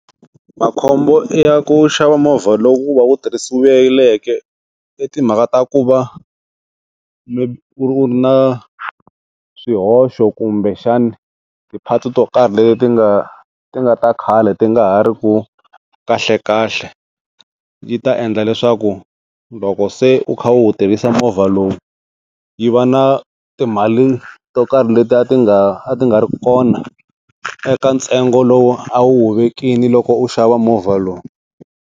Makhombo ya ku xava movha lowu va wu tirhisiweke, i timhaka ta ku va u ri na swihoxo kumbexana ti-parts to karhi leti ti nga ti nga ta khale ti nga ha ri ku kahlekahle, yi ta endla leswaku loko se u kha u wu tirhisa movha lowu, yi va na timali to karhi leti a ti nga a ti nga ri kona eka ntsengo lowu a wu wu vekile loko u xava movha lowu.